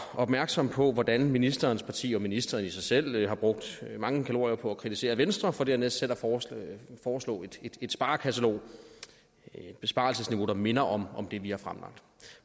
opmærksom på hvordan ministerens parti og ministeren selv har brugt mange kalorier på at kritisere venstre for dernæst selv at foreslå et sparekatalog det er et besparelsesniveau der minder om det vi har fremlagt